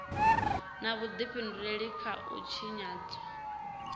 na vhudifhinduleli kha u tshinyadzwa